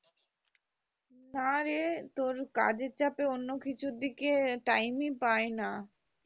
নারে তোর কাজের চাপে অন্য কিছুর দিকে time ই পাইনা